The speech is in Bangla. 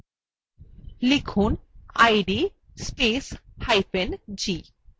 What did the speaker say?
লিখুন id spacehyphen g